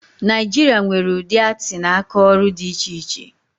Naịjiria nwere udị atii na aka ọrụ dị iche iche